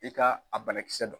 I ka a banakisɛ dɔn.